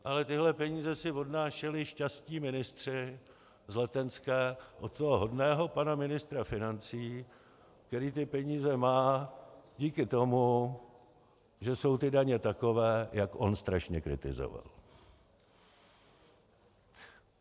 Ale tyhle peníze si odnášeli šťastní ministři z Letenské od toho hodného pana ministra financí, který ty peníze má díky tomu, že jsou ty daně takové, jak on strašně kritizoval.